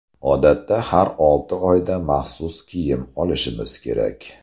Odatda har olti oyda maxsus kiyim olishimiz kerak.